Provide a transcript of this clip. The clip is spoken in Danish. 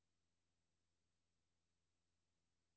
Der er ikke meget nyt under solen.